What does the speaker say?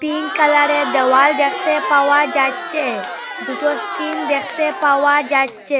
Pink কালারের দেওয়াল দেখতে পাওয়া যাচ্চে দুটো স্কিন দেখতে পাওয়া যাচ্চে।